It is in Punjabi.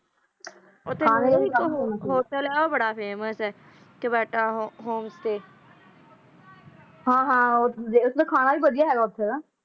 ਟਾਇਮ ਆਉਣ ਖ਼ਾਤਰ ਆਪਣਾ ਹੈਵਾਨ - ਵੱਖੋ ਵੱਖ ਹੈ ਹਾਹਾ ਹਾਹੈ ਹਾਕ